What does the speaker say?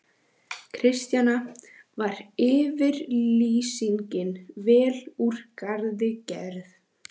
Kristjana: Var yfirlýsingin vel úr garði gerð?